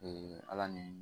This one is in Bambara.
ala ni